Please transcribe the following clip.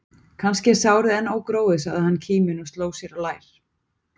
Kannski er sárið enn ógróið, sagði hann kíminn og sló sér á lær.